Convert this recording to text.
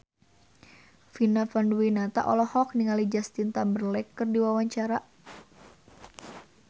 Vina Panduwinata olohok ningali Justin Timberlake keur diwawancara